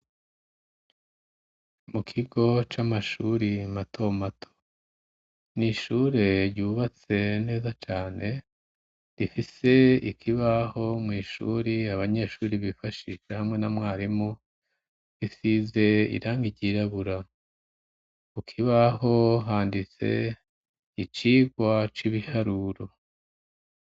Mu kigo c'amashuri mato mato. Ni ishure ryubatse neza cane, rifise ikibaho mw'ishuri abanyeshuri bifashisha hamwe n'umwarimu, isize irangi ryirabura. Ku kibaho handitse icirwa c'ibiharuro.